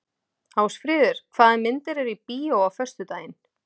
Ásfríður, hvaða myndir eru í bíó á föstudaginn?